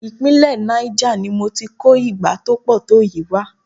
Ìpínlẹ̀ Niger ni mo ti kó igbá tó pọ̀ tó yìí wá.